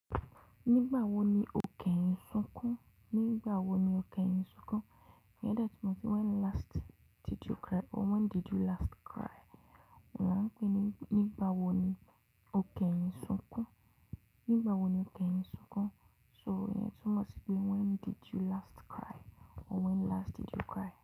Nigba wo ni o kẹyin sun kun. Nígbà wo ni o gé yín sunkún? Ìyẹn dẹ tú mọ si when last did you cry or when did you last cry. Wọn máa pè é ní nígbà wo ni o kẹyín sunkún? Nígbà wo ni o kẹyín sunkún? So ìtúmò ti í pé when did you last cry or when last did you cry.